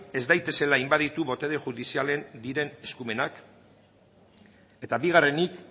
ez daitezela inbaditu botere judizialarenak diren eskumenak eta bigarrenik